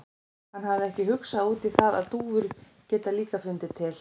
Hann hafði ekki hugsað út í það að dúfur geta líka fundið til.